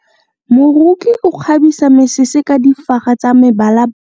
Moroki o kgabisa mesese ka difaga tsa mebalabala.